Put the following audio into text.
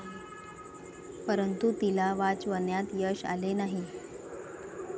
परंतु, तिला वाचवण्यात यश आले नाही.